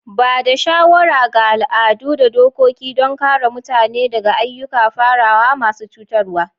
Ba da shawara ga al'adu da dokoki don kare mutane daga ayyukan farawa masu cutarwa.